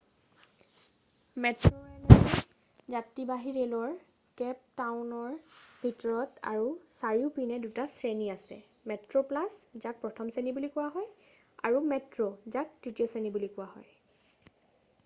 মেট্ৰোৰে'লৰ যাত্ৰীবাহি ৰে'লৰ কেপ টাউনৰ ভিতৰত আৰু চাৰিওপিনে দুটা শ্ৰেণী আছে। মেট্ৰোপ্লাছ যাক প্ৰথম শ্ৰেণী বুলি কোৱা হয় আৰু মেট্ৰো যাক তৃতীয় শ্ৰেণী বুলি কোৱা হয়।